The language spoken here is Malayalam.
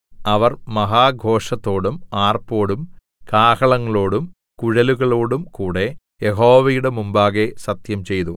അവർ മഹാഘോഷത്തോടും ആർപ്പോടും കാഹളങ്ങളോടും കുഴലുകളോടും കൂടെ യഹോവയുടെ മുമ്പാകെ സത്യംചെയ്തു